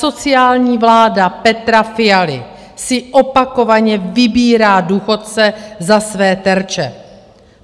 Asociální vláda Petra Fialy si opakovaně vybírá důchodce za své terče.